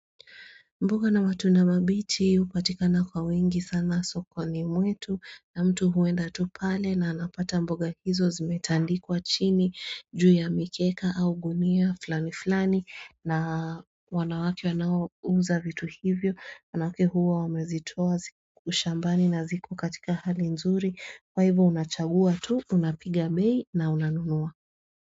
Mboga na matunda mabichi hupatika na kwa wingi sana sokoni mwetu na mtu huenda tu pale na anapata mboga hizo zimetandikwa chini juu ya mikeka au gunia fulani fulani na wanawake wanaouza vitu hivyo wanawake huwa wamezitoa shambani na ziko katika hali nzuri kwa hivo unachagua tu unapiga bei na unanunua.